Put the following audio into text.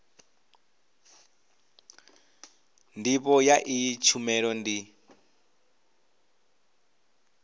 ndivho ya iyi tshumelo ndi